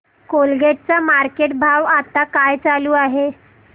Colgate चा market भाव आता काय चालू आहे